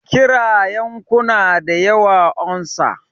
Kira yankuna da ya unsa!